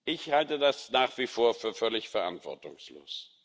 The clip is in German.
Ich halte das nach wie vor für völlig verantwortungslos.